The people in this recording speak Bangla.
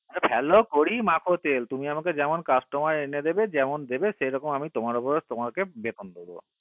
হা ভালো করে মাখো তেল তুমি আমাকে যেমন customer এনে দেবে যেমন দেবে তেমন আমি তোমাকে বেতন দেব